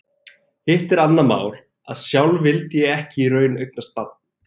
Hitt er annað mál að sjálf vildi ég ekki í raun eignast barn.